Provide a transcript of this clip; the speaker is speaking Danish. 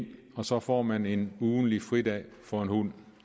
og så får man en ugentlig fridag for en hund